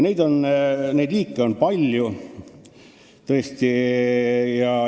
Neid liike on tõesti palju.